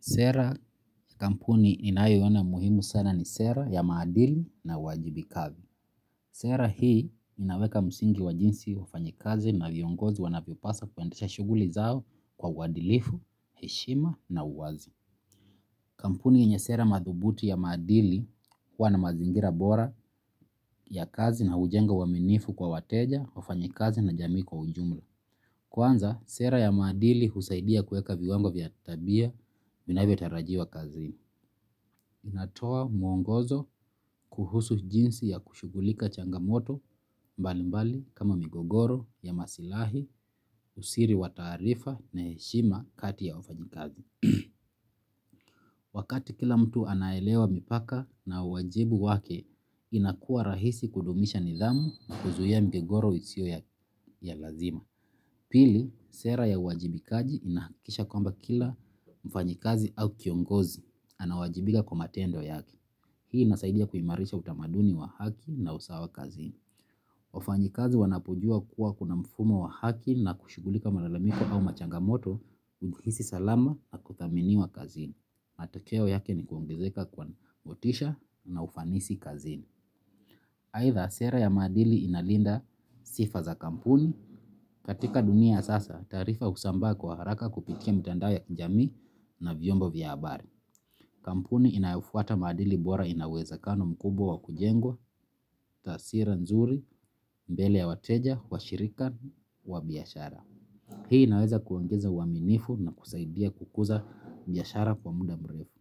Sera ya kampuni ninayoona muhimu sana ni sera ya maadili na uwajibikaji. Sera hii inaweka msingi wa jinsi wafanyikazi na viongozi wanavyopasa kuendesha shughuli zao kwa uadilifu, heshima na uwazi. Kampuni yenye sera madhubuti ya maadili huwa na mazingira bora ya kazi na hujenga uaminifu kwa wateja, wafanyikazi na jamii kwa ujumla. Kwanza, sera ya maadili husaidia kueka viwango vya tabia vinavyotarajiwa kazini. Inatoa mwongozo kuhusu jinsi ya kushughulika changamoto mbalimbali kama migogoro ya masilahi, usiri wa taarifa na heshima kati ya wafanyikazi. Wakati kila mtu anaelewa mipaka na uwajibu wake inakua rahisi kudumisha nidhamu na kuzuia migogoro isio ya lazima. Pili, sera ya uwajibikaji inahakikisha kwamba kila mfanyikazi au kiongozi anawajibika kwa matendo yake. Hii inasaidia kuimarisha utamaduni wa haki na usawa kazini. Wafanyikazi wanapojua kuwa kuna mfumo wa haki na kushughulika malalamiko au machangamoto umhisi salama na kuthaminiwa kazini. Matokeo yake ni kuongezeka kwa motisha na ufanisi kazini. Aitha sera ya maadili inalinda sifa za kampuni. Katika dunia ya sasa taarifa husambaa kwa haraka kupitia kwa mtandao ya jamii na vyombo vya habari kampuni inayofuata maadili bora ina uwezekano bora mkubwa wa kujengwa tawira mzuri mbele ya wateja, washirika wa biashara. Hii inaweza kuongeza uaminifu na kusaidia kukuza biashara kwa muda mrefu.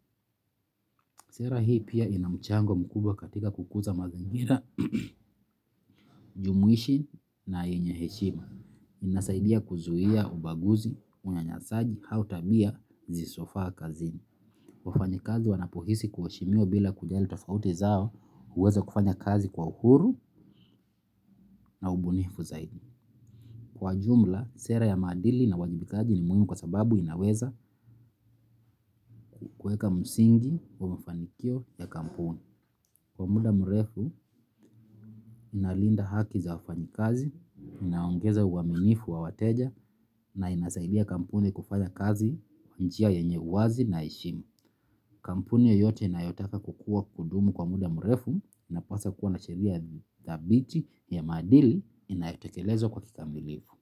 Sera hii pia ina mchango mkubwa katika kukuza mazingira, jumuishi na yenye heshima. Inasaidia kuzuia ubaguzi, unyanyasaji, au tabia, zisizofaa kazini. Wafanyikazi wanapohisi kuheshimiwa bila kujali tofauti zao huweza kufanya kazi kwa uhuru na ubunifu zaidi. Kwa jumla, sera ya maadili na uwajibikaji ni muhimu kwa sababu inaweza kueka msingi wa mafanikio ya kampuni. Kwa muda mrefu, inalinda haki za wafanyikazi, inaongeza uaminifu wa wateja na inasaidia kampuni kufanya kazi kwa njia yenye uwazi na heshima. Kampuni yeyote inayotaka kukua kudumu kwa muda mrefu inapaswa kuwa na sheria dhabiti ya maadili inayotekelezwa kwa kikamilifu.